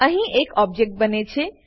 અહીં એક ઓબજેક્ટ બને છે